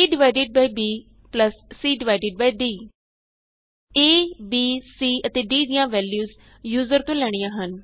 a divided by b plus c divided by d A B c ਅਤੇ d ਦੀਆਂ values user ਤੋਂ ਲੈਣੀਆਂ ਹਨ